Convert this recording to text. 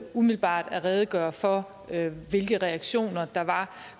umiddelbart at redegøre for hvilke reaktioner der var